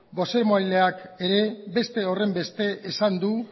bozeramaileak ere beste horren beste esan du